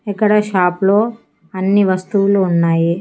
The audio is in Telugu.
ఇక్కడ షాప్ లో అన్ని వస్తువులు ఉన్నాయి.